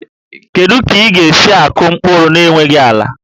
Kedu ka ị ga-esi akụ mkpụrụ n'enweghị ala?